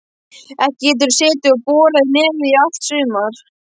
Ekki geturðu setið og borað í nefið í allt sumar.